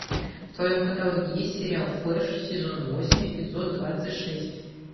в твоем каталоге есть сериал флэш сезон восемь эпизод двадцать шесть